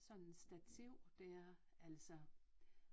Sådan stativ det er altså